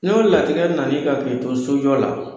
N'o latigɛ nan'i kan k'i to sojɔ la